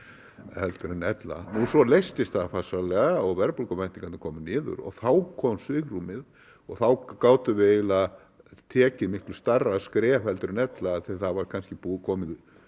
en ella nú svo leystist það farsællega og verðbólguvæntingarnar komu niður og þá kom svigrúmið og þá gátum við eiginlega tekið miklu stærra skref en ella af því að það var kannski komið